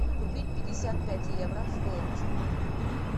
купить пятьдесят пять евро стоимость